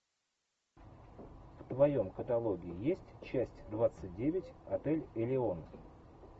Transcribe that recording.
в твоем каталоге есть часть двадцать девять отель элеон